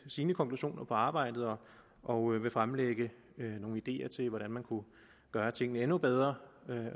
sine konklusioner på arbejdet og vil fremlægge nogle ideer til hvordan man kunne gøre tingene endnu bedre vi